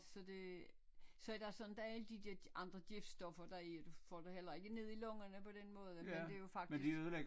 Så det så er der sådan der er alle de der andre det er stoffer der er i og du får det heller ikke ned i lungerne på den måde men det er jo faktisk